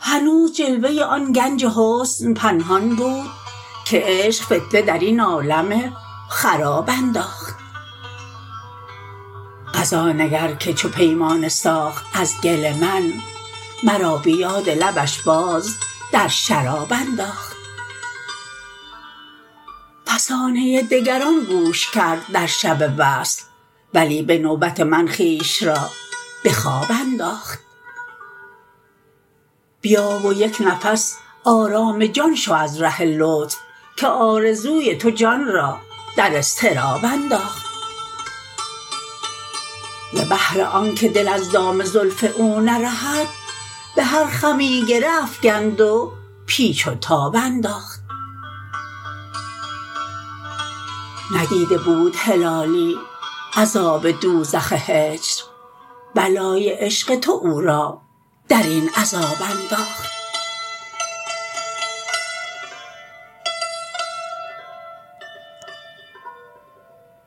هنوز جلوه آن گنج حسن پنهان بود که عشق فتنه درین عالم خراب انداخت قضا نگر که چو پیمانه ساخت از گل من مرا بیاد لبش باز در شراب انداخت فسانه دگران گوش کرد در شب وصل ولی بنوبت من خویش را بخواب انداخت بیا و یک نفس آرام جان شو از ره لطف که آرزوی تو جان را در اضطراب انداخت ز بهر آنکه دل از دام زلف او نرهد بهر خمی گره افگند و پیچ و تاب انداخت ندیده بود هلالی عذاب دوزخ هجر بلای عشق تو او را درین عذاب انداخت